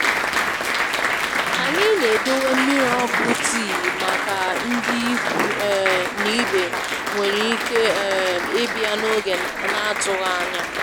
Onye ọ bụla bugharịrị ọrụ ya mgbé a chọkwuru enyemaaka na mmegharị Omenala bịara na mgberede.